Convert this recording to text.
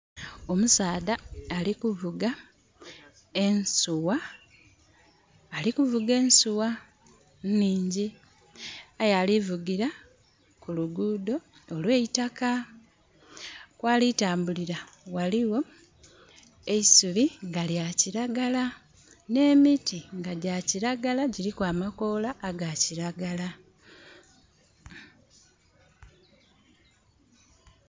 Omusaadha ali kuvuga ensuwa. Ali kuvuga ensuwa nhingyi. Aye ali vugira ku luguudho olw'eitaka. Kwali tambulira ghaligho e isubi nga lya kiragala. Nh'emiti nga gya kiragala, gyiliku amakoola nga ga kiragala.